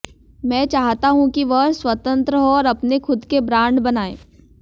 मैं चाहता हूँ कि वह स्वतंत्र हों और अपने खुद के ब्रांड बनाएं